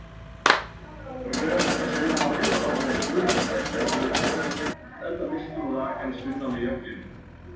Rök sunnanáttin var orðin þurr er norður kom enda missti hún rakann sunnan á jöklinum.